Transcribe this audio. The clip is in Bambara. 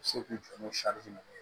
Se k'u jɔ n'o ye